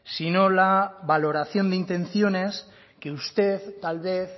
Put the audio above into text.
sino la valoración de intenciones que usted tal vez